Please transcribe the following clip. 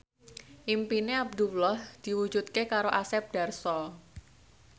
impine Abdullah diwujudke karo Asep Darso